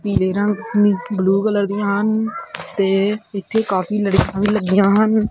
ਪੀਲੇ ਰੰਗ ਦੀ ਬਲੂ ਕਲਰ ਦੀਆਂ ਹਨ ਤੇ ਇੱਥੇ ਕਾਫੀ ਲੜੀਆਂ ਵੀ ਲੱਗੀਆਂ ਹਨ।